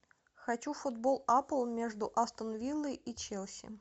хочу футбол апл между астон виллой и челси